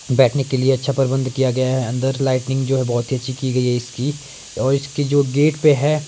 बैठने के लिए अच्छा प्रबंध किया गया है अंदर लाइटनिंग जो है बहुत ही अच्छी की गई है इसकी और इसके जो गेट पे है।